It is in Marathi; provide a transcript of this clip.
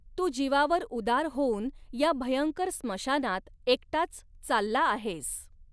तू जिवावर उदार होऊन या भयंकर स्मशानात एकटाच चालला आहेस.